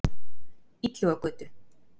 Illugagötu